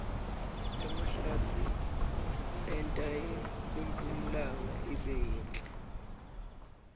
emahlatsi enta impumlanga ibe yinhle